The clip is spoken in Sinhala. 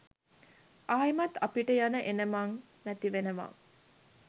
ආයෙමත් අපිට යන එනමං නැතිවෙනවා.